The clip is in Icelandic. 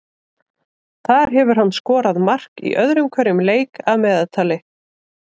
Þar hefur hann skorað mark í öðrum hverjum leik að meðaltali.